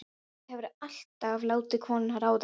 Róbert hefur alltaf látið konuna ráða.